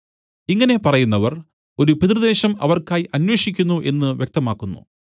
ഇങ്ങനെ പറയുന്നവർ ഒരു പിതൃദേശം അവർക്കായി അന്വേഷിക്കുന്നു എന്നു വ്യക്തമാക്കുന്നു